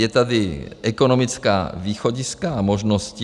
Jsou tady ekonomická východiska a možnosti.